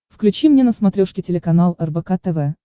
включи мне на смотрешке телеканал рбк тв